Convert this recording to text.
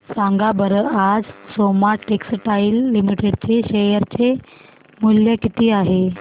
सांगा बरं आज सोमा टेक्सटाइल लिमिटेड चे शेअर चे मूल्य किती आहे